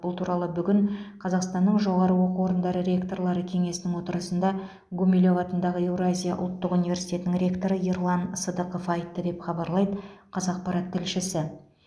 бұл туралы бүгін қазақстанның жоғары оқу орындары ректорлары кеңесінің отырысында гумилев атындағы еуразия ұлттық университетінің ректоры ерлан сыдықов айтты деп хабарлайды қазақпарат тілшісі